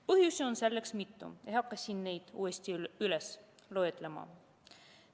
Põhjusi on selleks mitu, ei hakka siin neid uuesti loetlema.